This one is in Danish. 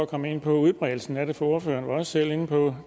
komme ind på udbredelsen af det for ordføreren var selv inde på